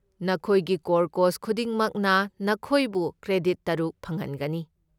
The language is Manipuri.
ꯅꯈꯣꯏꯒꯤ ꯀꯣꯔ ꯀꯣꯔꯁ ꯈꯨꯗꯤꯡꯃꯛꯅ ꯅꯈꯣꯏꯕꯨ ꯀ꯭ꯔꯦꯗꯤꯠ ꯇꯔꯨꯛ ꯐꯪꯍꯟꯒꯅꯤ꯫